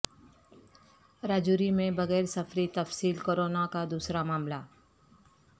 راجوری میں بغیر سفری تفصیل کورونا کا دوسرا معاملہ